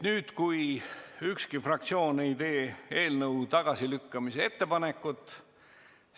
Nii et kui ükski fraktsioon ei tee eelnõu tagasilükkamise ettepanekut, siis on esimene lugemine lõpetatud.